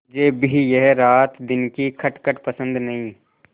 मुझे भी यह रातदिन की खटखट पसंद नहीं